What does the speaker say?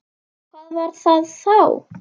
Hvað var það þá?